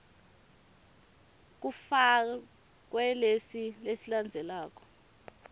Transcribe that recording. kufakwe lesi lesilandzelako